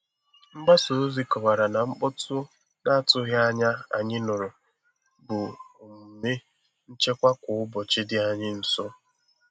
Mgbasa ozi kọwara na mkpọtụ na-atụghị anya anyị nụrụ bụ omume nchekwa kwa ụbọchị dị anyị nso.